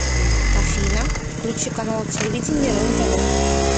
афина включи канал телевидения рен тв